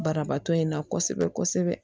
Banabaatɔ in na kosɛbɛ kosɛbɛ